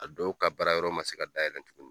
A dɔw ka bara yɔrɔ man se ka dayɛlɛ tuguni.